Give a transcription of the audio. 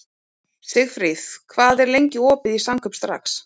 Sigfríð, hvað er lengi opið í Samkaup Strax?